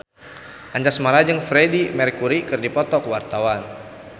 Anjasmara jeung Freedie Mercury keur dipoto ku wartawan